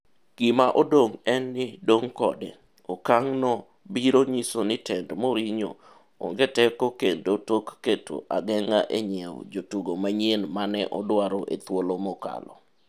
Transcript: Gima odong' en ni dong' kode, okang' no biro nyiso ni tend Mourinho ong teko kendo tok keto ageng'a e nyiew jotugo manyien mane odwaro e thuolo mokalo.